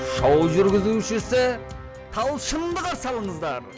шоу жүргізушісі талшынды қарсы алыңыздар